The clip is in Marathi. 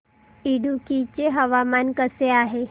इडुक्की चे हवामान कसे आहे